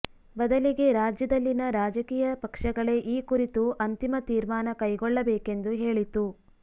ಬದಲಿಗೆ ರಾಜ್ಯದಲ್ಲಿನ ರಾಜಕೀಯ ಪಕ್ಷಗಳೇ ಈ ಕುರಿತು ಅಂತಿಮ ತೀಮರ್ಾನ ಕೈಗೊಳ್ಳಬೇಕೆಂದು ಹೇಳಿತು